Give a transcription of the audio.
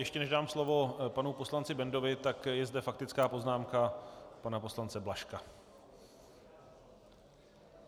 Ještě než dám slovo panu poslanci Bendovi, tak je zde faktická poznámka pana poslance Blažka.